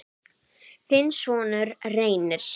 þinn sonur, Reynir.